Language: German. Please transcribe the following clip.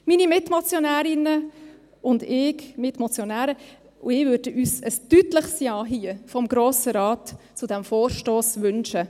Meine Mitmotionärinnen, Mitmotionäre und ich würden uns hier ein deutliches Ja vom Grossen Rat zu diesem Vorstoss wünschen: